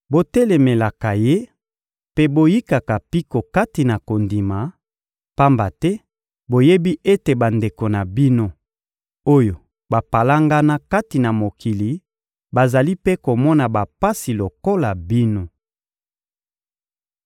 Botelemelaka ye mpe boyikaka mpiko kati na kondima, pamba te boyebi ete bandeko na bino, oyo bapalangana kati na mokili bazali mpe komona bapasi lokola bino.